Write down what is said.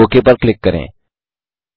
okay पर click करें